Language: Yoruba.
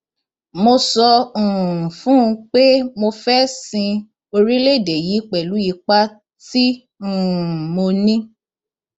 mo sọ um fún un pé mo fẹẹ sin orílẹèdè yìí pẹlú ipa tí um mo ní